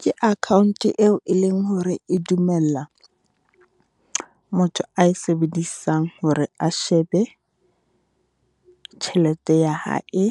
Ke account eo e leng hore e dumella motho a sebedisang hore a shebe tjhelete ya hae,